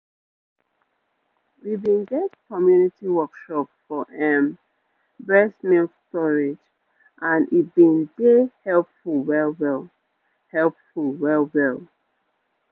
we been get community workshop for ehm breast milk storage and e been dey helpful well-well helpful well-well